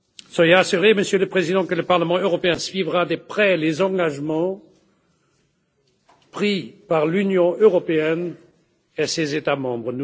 Soyez assuré, Monsieur le Président, que le Parlement européen suivra de près les engagements pris par l'Union européenne et ses États membres.